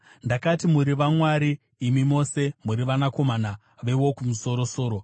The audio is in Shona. “Ndakati, ‘Muri vamwari; imi mose muri vanakomana veWokumusoro-soro.’